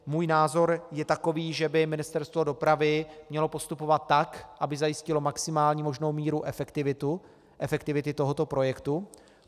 Můj názor je takový, že by Ministerstvo dopravy mělo postupovat tak, aby zajistilo maximální možnou míru efektivity tohoto projektu.